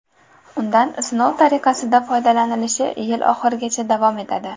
Undan sinov tariqasida foydalanilishi yil oxirigacha davom etadi.